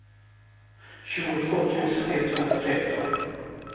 tjugotvå tusen etthundratretton